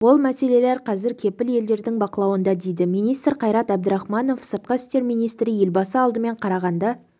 ол мәселелер қазір кепіл елдердің бақылауында дейді министр қайрат әбдірахманов сыртқы істер министрі елбасы алдымен қарағанды